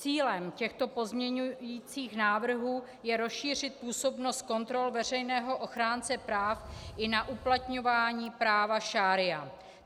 Cílem těchto pozměňovacích návrhů je rozšířit působnost kontrol veřejného ochránce práv i na uplatňování práva šaría.